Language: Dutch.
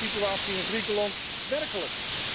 Maar hoe is de situatie in Griekenland werkelijk?